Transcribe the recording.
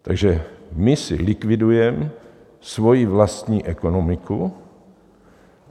Takže my si likvidujeme svoji vlastní ekonomiku.